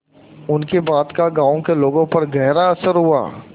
उनकी बात का गांव के लोगों पर गहरा असर हुआ